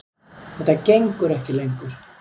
Þetta gengur ekki lengur.